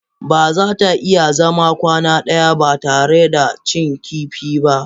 Ba za ta iya zama kwana ɗaya ba tare da ta cin kifi ba.